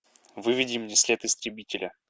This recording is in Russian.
выведи мне след истребителя